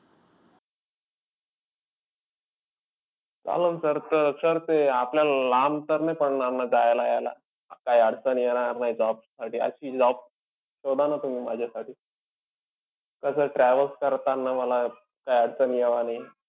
चालेल sir तर sir ते आपल्याला ते लांब तर नई पडणार ना यायला-जायला? काई अडचण येणार नाई job साठी अशी job शोधा ना तुम्ही माझ्यासाठी. कसंय travels करताना मला काई अडचण यावं नाई.